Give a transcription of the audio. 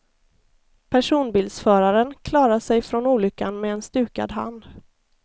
Personbilsföraren klarade sig från olyckan med en stukad hand.